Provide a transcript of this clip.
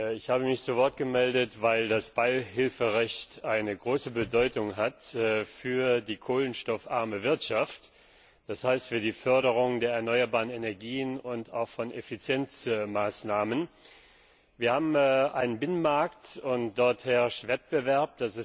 Ich habe mich zu Wort gemeldet, weil das Beihilferecht eine große Bedeutung für die kohlenstoffarme Wirtschaft hat, das heißt für die Förderung der erneuerbaren Energien und auch von Effizienzmaßnahmen. Wir haben einen Binnenmarkt, und dort herrscht Wettbewerb.